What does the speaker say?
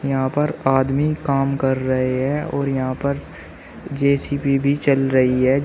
यहां पर आदमी काम कर रहे हैं और यहां पर जे_सी_बी भी चल रही है।